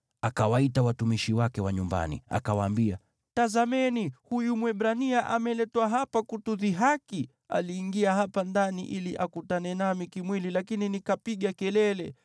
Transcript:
akawaita watumishi wake wa nyumbani, akawaambia, “Tazameni! Huyu Mwebrania ameletwa hapa kutudhihaki! Aliingia hapa ndani ili akutane nami kimwili, lakini nikapiga kelele.